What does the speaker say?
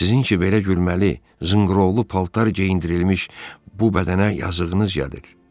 Sizin ki belə gülməli, zınqırovlu paltar geyindirilmiş bu bədənə yazığınız gəlir.